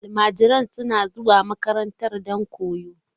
Almajiran suna zuwa makaranta don koyo.